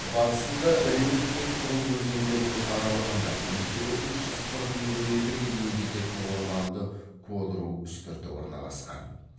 батысында реут пен пруг өзендерінің аралығында биіктігі үш жүз қырық миллиметрге дейін жететін орманды кодру үстірті орналасқан